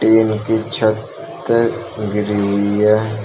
Tin की छत गिरी हुई है।